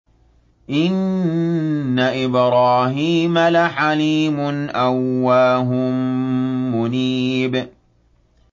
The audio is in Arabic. إِنَّ إِبْرَاهِيمَ لَحَلِيمٌ أَوَّاهٌ مُّنِيبٌ